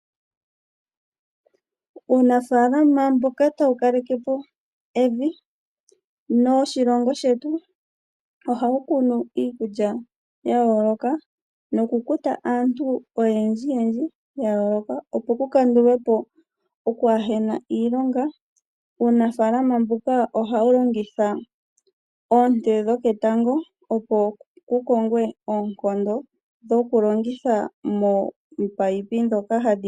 Uunafaalama mboka tawu kaleke po evi noshilongo shetu ohawu kunu iikulya ya yooloka noku kuta aantu oyendji yendji ya yooloka, opo ku kandulwe po okwaa hena iilonga. Uunafaalama mbuka ohawu longitha oonte dhoketango, opo ku kongwe oonkondo moku longitha mominino.